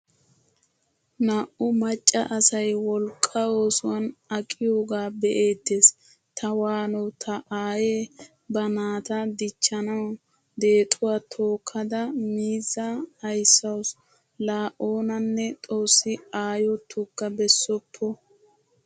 Naa'u macca asay wolqqa oosuwan aqqiyoga be'ettees. Ta waano ta aaye ba naataa dichchanawu deexuwaa tookada miiza aysawusu. La oonane xoossi aayo tuga bessoppo.